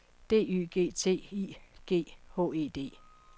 D Y G T I G H E D